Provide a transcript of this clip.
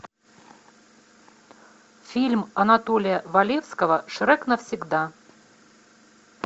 фильм анатолия валевского шрек навсегда